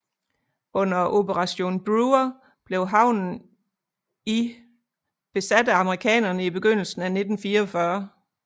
Under operation Brewer blev havnen i besat af amerikanerne i begyndelsen af 1944